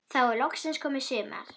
Þá er loksins komið sumar.